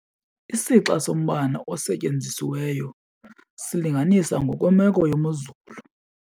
Isixa sombane osetyenzisiweyo silinganiswa ngokwemeko yemozulu.